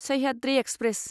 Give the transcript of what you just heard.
Sahyadri express